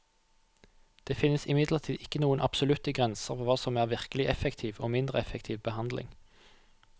Det finnes imidlertid ikke noen absolutte grenser for hva som er virkelig effektiv og mindre effektiv behandling.